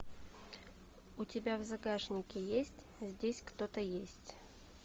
у тебя в загашнике есть здесь кто то есть